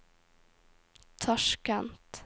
Tasjkent